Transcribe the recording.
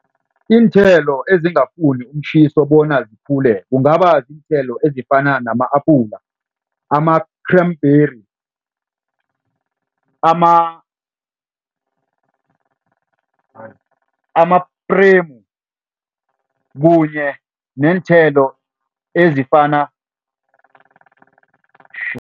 Iinthelo ezingafuni umtjhiso bona zikhule kungaba ziinthelo ezifana nama-apula, ama-cranberry, ama-premu kunye neenthelo ezifana